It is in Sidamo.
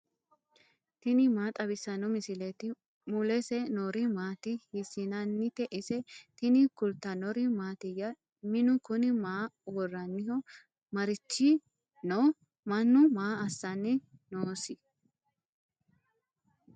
tini maa xawissanno misileeti ? mulese noori maati ? hiissinannite ise ? tini kultannori mattiya? Minnu kunni maa woraanniho? marichi nooho? Mannu maa assanni noosi?